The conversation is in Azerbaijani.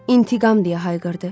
İntiqam! deyə hayqırdı.